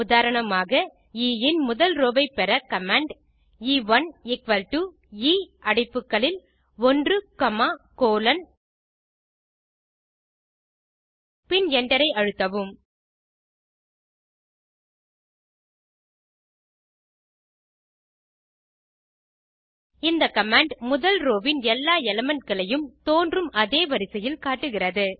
உதாரணமாக எ இன் முதல் ரோவை பெற command எ1 எ அடைப்புகளில் 1 காமா கோலோன் பின் Enter ஐ அழுத்தவும் இந்த கமாண்ட் முதல் ரோவின் எல்லா எலிமெண்ட் களையும் தோன்றும் அதே வரிசையில் காட்டுகிறது